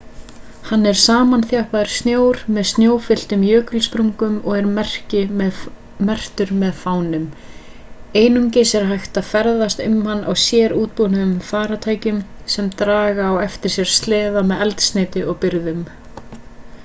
hann er samanþjappaður snjór með snjófylltum jökulsprungum og er merktur með fánum einungis er hægt að ferðast um hann á sérútbúnum farartækjum sem draga á eftir sér sleða með eldsneyti og birgðum